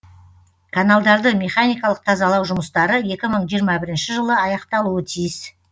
каналдарды механикалық тазалау жұмыстары екі мың жиырма бірінші жылы аяқталуы тиіс